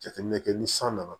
Jateminɛ kɛ ni san nana